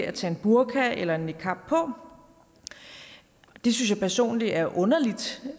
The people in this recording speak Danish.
at tage en burka eller en niqab på det synes jeg personlig er underligt